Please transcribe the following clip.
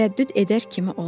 Tərəddüd edər kimi oldu.